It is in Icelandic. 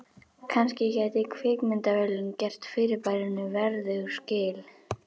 Kannski gæti kvikmyndavélin gert fyrirbærinu verðug skil.